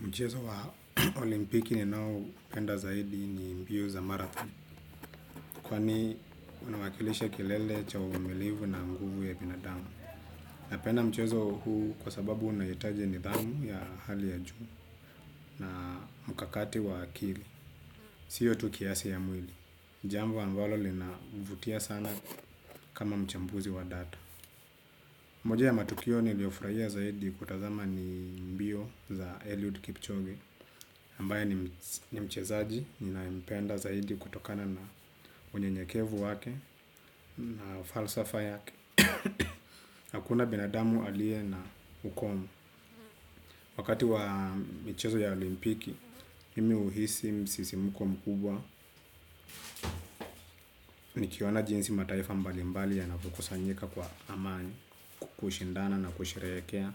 Mchezo wa olimpiki ninaupenda zaidi ni mbio za marathoni. Kwani unawakilisha kilele cha uvumilivu na nguvu ya binadamu. Napenda mchezo huu kwa sababu unahitaji nidhamu ya hali ya juu na mkakati wa akili. Siyo tu kiasi ya mwili. Jambo ambalo linavutia sana kama mchambuzi wa data. Moja ya matukio niliofurahia zaidi kutazama ni mbio za Eliud Kipchoge. Ambaye ni mchezaji ninaempenda zaidi kutokana na unyenyekevu wake na falsafa yake. Hakuna binadamu alie na ukomo. Wakati wa michezo ya olimpiki, mimi huhisi msisimko mkubwa. Nikiona jinsi mataifa mbalimbali yanavyokusanyika kwa amani kushindana na kusherekea